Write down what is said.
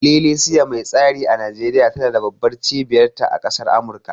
Ililisiya mai tsari a Nijeriya tana da babban cibiyar ta a ƙasar Amurka